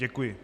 Děkuji.